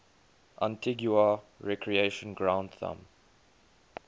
antigua recreation ground thumb